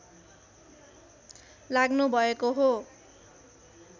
लाग्नुभएको हो